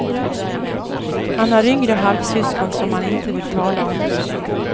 Han har yngre halvsyskon, som han inte vill tala om.